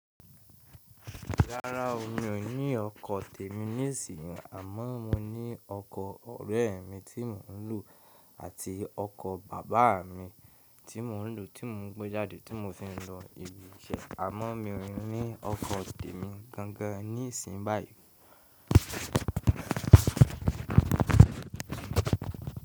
Rárá o, mi ò ní ọkọ̀ tèmi ní ìsìn, àmọ́ mo ní ọkọ̀ ọ̀rẹ́ mi tí mò ń lò àti ọkọ̀ bàbá mi tí mò ń lò tí mò ń gbé jáde tí mo fi ń lọ ibi iṣẹ́. Àmọ́ mi ò ní ọkọ̀ tèmi gangan ní ìsìn báyìí.